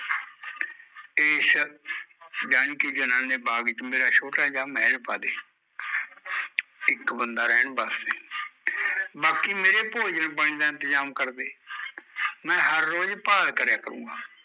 ਏਸ ਯਾਨੀਕਿ ਜਨਾਨੇ ਬਾਗ ਚ ਮੇਰਾ ਛੋਟਾ ਜਿਹਾ ਮਹਲ ਪਾਦੇ ਇੱਕ ਬੰਦਾ ਰਹਿਣ ਵਾਸਤੇ ਬਾਕੀ ਮੇਰੇ ਭੋਜਨ ਪਾਣੀ ਦਾ ਇੰਤਜ਼ਾਮ ਕਰਦੇ ਮੈਂ ਹਰ ਰੋਜ਼ ਭਾਲ ਕਰਿਆ ਕਰੁਗਾ